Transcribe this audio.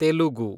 Telugu